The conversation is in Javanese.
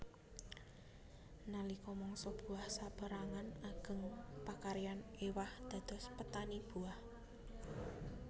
Nalika mangsa buah saperangan ageng pakaryan ewah dados petani buah